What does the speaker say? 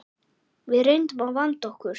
Við reynum að vanda okkur.